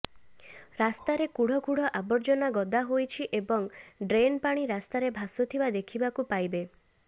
ରାସ୍ତାରେ କୁଢ଼କୁଢ଼ ଆବର୍ଜନା ଗଦା ହୋଇଛି ଏବଂ ଡ୍ରେନ୍ ପାଣି ରାସ୍ତାରେ ଭାସୁଥିବା ଦେଖିବାକୁ ପାଇବେ